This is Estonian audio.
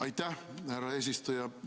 Aitäh, härra eesistuja!